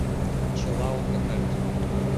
чиллаут на карте